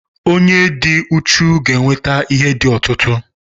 onye dị uchu ga-enweta ihe di ọtụtụ